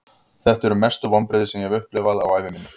Þetta eru mestu vonbrigði sem ég hef upplifað á ævi minni.